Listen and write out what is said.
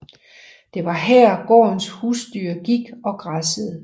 Det var her gårdens husdyr gik og græssede